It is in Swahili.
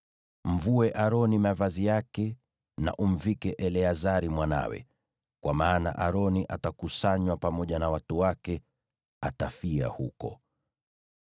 Mvue Aroni mavazi yake, na umvike Eleazari mwanawe, kwa maana Aroni atakusanywa pamoja na watu wake; atakufa huko.”